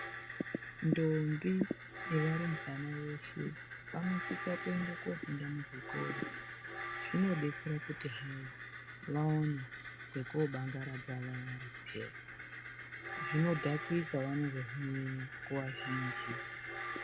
Ndombi nevarumbana veshe vanosisa kofunda muzvikora zvinobetsera kuti hai vaone pekobangaradza vari peya, zvinodhakisa vanozozvinyanya nguva zhinji.